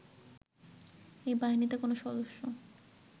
এই বাহিনীতে কোন সদস্য